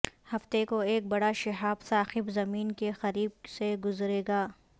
ہفتے کو ایک بڑا شہاب ثاقب زمین کے قریب سے گزرے گا